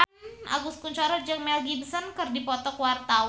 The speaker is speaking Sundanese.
Agus Kuncoro jeung Mel Gibson keur dipoto ku wartawan